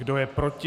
Kdo je proti?